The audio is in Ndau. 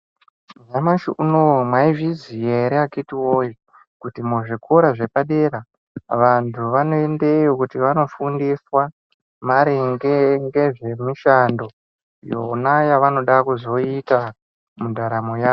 Nyamashi unowu maizviziva here akiti woye Kuti muzvikora zvepadera vantu vanoendamo kuti vanofundiswa ngezvemushando yona yavanoda kuzoita mundaramo yawo.